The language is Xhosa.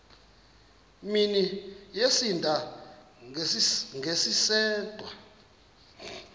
mini yosinda ngesisodwa